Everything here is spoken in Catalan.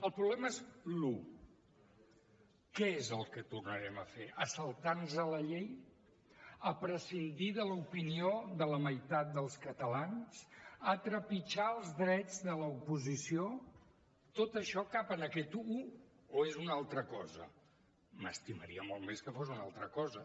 el problema és l’ ho què és el que tornarem a fer saltar nos la llei prescindir de l’opinió de la meitat dels catalans trepitjar els drets de l’oposició tot això cap en aquest ho o és una altra cosa m’estimaria molt més que fos una altra cosa